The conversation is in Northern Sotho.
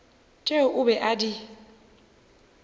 tšeo o be a di